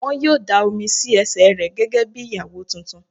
Wọ́n yóò dáa omi sí ẹsẹ̀ rẹ gẹ́gẹ́ bí Ìyàwó tuntun.